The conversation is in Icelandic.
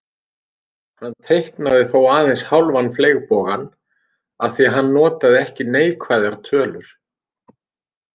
Hann teiknaði þó aðeins hálfan fleygbogann af því að hann notaði ekki neikvæðar tölur.